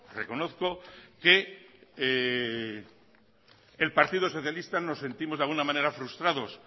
reconozco que el partido socialista nos sentimos de alguna manera frustrados